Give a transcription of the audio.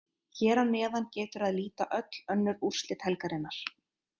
Hér að neðan getur að líta öll önnur úrslit helgarinnar.